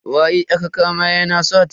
Waye aka kama yana sata?